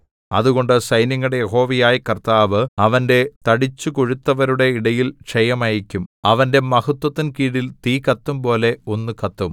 അതുകൊണ്ട് സൈന്യങ്ങളുടെ യഹോവയായ കർത്താവ് അവന്റെ തടിച്ചുകൊഴുത്തവരുടെ ഇടയിൽ ക്ഷയം അയയ്ക്കും അവന്റെ മഹത്ത്വത്തിൻ കീഴിൽ തീ കത്തുംപോലെ ഒന്ന് കത്തും